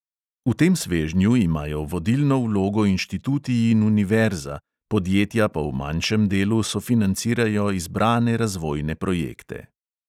V tem svežnju imajo vodilno vlogo inštituti in univerza, podjetja pa v manjšem delu sofinancirajo izbrane razvojne projekte.